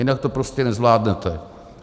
Jinak to prostě nezvládnete.